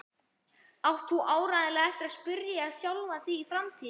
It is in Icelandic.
átt þú áreiðanlega eftir að spyrja sjálfa þig í framtíðinni.